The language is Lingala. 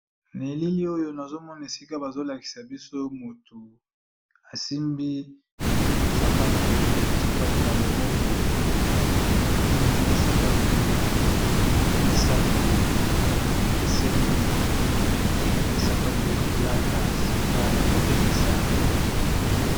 Na elili oyo nazo mona esika bazo lakisa biso motu asimbi sapatu, sapatu na loboko nazo mona eza na sapatu misato ekeseni ezali sapatu ya kolata esika ya ko tekisa yango.